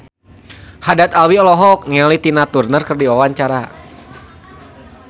Haddad Alwi olohok ningali Tina Turner keur diwawancara